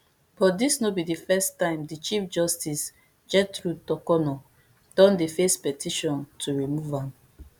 but dis no be di first time di chief justice gertrude torkornoo don dey face petition to remove am